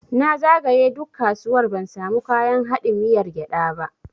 Na zagaye duk kasuwar ban samu kayan haɗin miyar gyada ba.